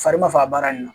Fari b'a fɔ a baara nin na